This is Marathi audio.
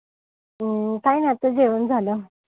हा काई नाई आता जेवण झालं.